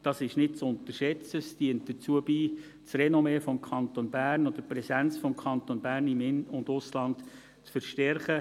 Diese sind nicht zu unterschätzen und tragen dazu bei, das Renommee oder die Präsenz des Kantons Bern im In- und Ausland zu verstärken.